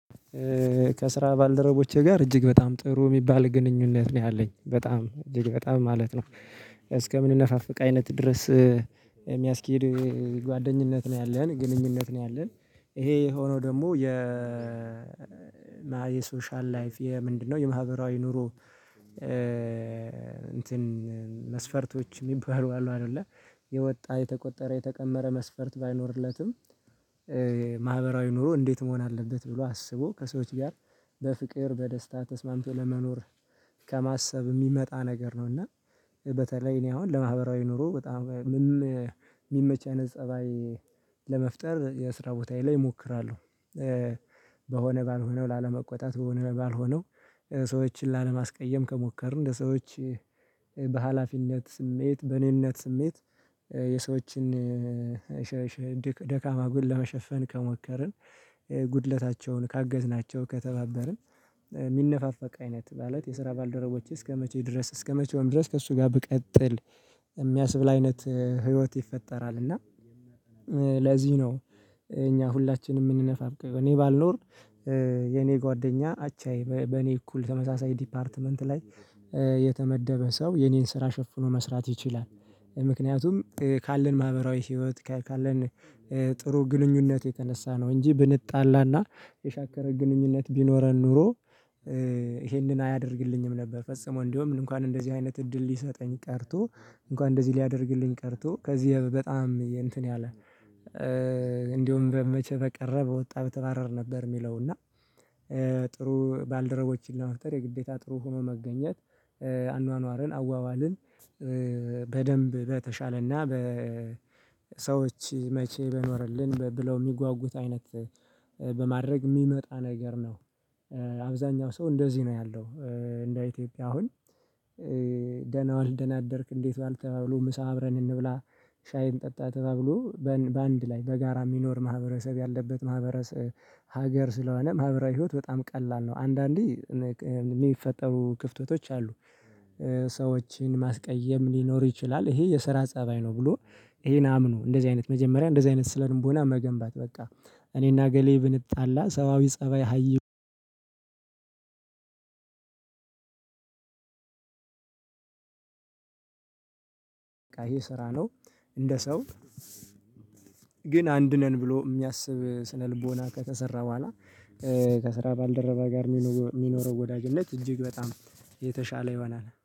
ከስራ ባልደረቦቼ ጋር እጅግ በጣም ጥሩ የሚባል ግንኙነት ነው ያለኝ። በጣም እጅግ በጣም ማለት ነው። እስከምንነፋፈቅ አይነት ድረስ የሚያስኬድ ጓደኝነት ነው ያለን፣ ግንኙነት ነው ያለን፣ ይሄ የሆነው ደግሞ የ የሶሻል ላይፍ የምንድነው የማህበራዊ ኑሮ እንትን መስፈርቶች የሚባሉ አሉ አይደለ። የወጣ የተቆጠረ የተቀመረ መስፈርት ባይኖርለትም ማህበራዊ ኑሮ እንዴት መሆን አለበት ብሎ አስቦ ከሰዎች ጋር በፍቅር በደስታ ተስማምቶ ለመኖር ከማሰብ የሚመጣ ነገር ነው። እና በተለይ እኔ አሁን ለማህበራዊ ኑሮ በጣም ምመ ሚመች አይንት ፀባይ ለመፍጠር የስራ ቦታዬ ላይ እሞክራለሁ። በሆነ ባልሆነው ላለመቆጣት፣ በሆነ ባልሆነው ሰዎችን ላለማስቀየም፣ ከሞከርን እንደ ሰዎች በሃላፊነት ስሜት፣ በእኔነት ስሜት፣ የሰዎችን ደካማ ጎል ለመሸፈን ከሞከርን፣ ጉድለታቸውን ካገዝናቸው፣ ከተባበርን፣ ሚነፋፈቅ አይነት ማለት የስራ ባልደረቦችህ እስከመቼ ድረስ እስከመቼውም ድረስ ከእሱ ጋር ብቀጥል የሚያስብል አይነት ህይወት ይፈጠራል። እና ለዚህ ነው እኛ ሁላችንም የምንነፋፈቀው። እኔ ባልኖር የኔ ጓደኛ አቻዬ በኔ እኩል ተመሳሳይ ዲፓርትመንት ላይ የተመደበ ሰው የኔን ስራ ሸፍኖ መስራት ይችላል። ምክንያቱም ካለን ማህበራዊ ህይወት ካ ካለን ጥሩ ግንኙነት የተነሳ ነው። እንጂ ብንጣላና የሻከረ ግንኙነት ቢኖረን ኖሮ ይሄንን አያደርግልኝም ነበር። ፈጽሞ እንደውም እንኳን እንደዚህ አይነት እድል ሊሰጠኝ ቀርቶ እንኳን እንደዚህ ሊያደርግልኝ ቀርቶ ከዚህ የ በጣም እንትን ያለ እንዲሁም በመቼ በቀረበ ወጣ በተባረር ነበር የሚለው። እና ጥሩ ባልደረቦችን ለመፍጠር የግዴታ ጥሩ ሆኖ መገኘት አኗኗርን፣ አዋዋልን፣ በደንብ በተሻለና በሰዎች መቼ በኖረልን ብለው የሚጓጉት አይነት በማድረግ የሚመጣ ነገር ነው። አብዛኛው ሰው እንደዚህ ነው ያለው። እንደ ኢትዮጵያ አሁን ዋልክ? ደናደርክ? እንዴት ዋልክ? ተባብሎ ምሳ አብረን እንብላ፣ ሻይን እንጣ ተባብሎ በአንድ ላይ በጋራ የሚኖር ማህበረሰብ ያለበት ማህበረሰብ ሀገር ስለሆነ ማህበራዊ ህይወት በጣም ቀላል ነው። አንዳንዴ የሚፈጠሩ ክፍተቶች አሉ ሰዎችን ማስቀየም ሊኖር ይችላል ይሄ የስራ ፀባይ ነው ብሎ ይሄን አምኖ እንደዚህ አይነት መጀመሪያ እንደዚህ አይነት ስለልቦና መገንባት በቃ እኔና አገሌ ብንጣላ ሰብአዊ ፀባይ ሃይ አይደለም ይሄ ስራ ነው። እንደ ሰው ግን አንድ ነን ብሎ የሚያስብ ስነልቦና ከተሰራ በኋላ ከስራ ባልደረባ ጋር ሚኒወ ሚኖረው ወዳጅነት እጅግ በጣም የተሻለ ይሆናል።